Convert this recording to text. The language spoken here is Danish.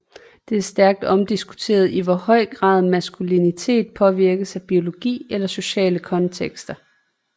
Det er stærkt omdiskuteret i hvor høj grad maskulinitet påvirkes af biologi eller sociale kontekster